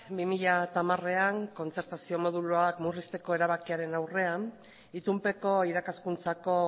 bi mila hamarean kontzertazio moduluak murrizteko erabakiaren aurrean itunpeko irakaskuntzako